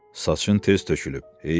Saçın tez tökülüb.